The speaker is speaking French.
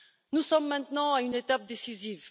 Nous sommes maintenant à une étape décisive.